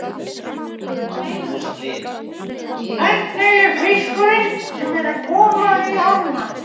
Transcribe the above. Magnús Hlynur: Hvernig er fiskurinn sem er að koma í ána?